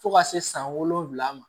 Fo ka se san wolonwula ma